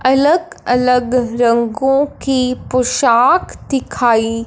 अलग अलग रंगों की पोशाक दिखाई--